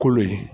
Kolo ye